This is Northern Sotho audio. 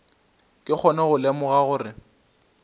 ke kgone go lemoga gore